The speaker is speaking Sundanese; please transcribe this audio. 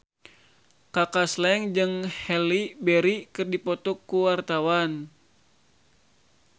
Kaka Slank jeung Halle Berry keur dipoto ku wartawan